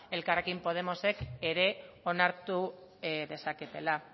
elkarrekin podemosek ere onartu dezaketela